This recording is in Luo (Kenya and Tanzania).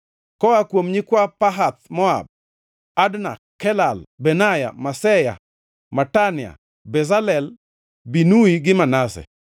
Koa kuom nyikwa Pahath-Moab: Adna, Kelal, Benaya, Maseya, Matania, Bezalel, Binui gi Manase.